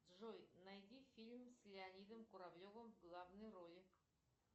джой найди фильм с леонидом куравлевым в главной роли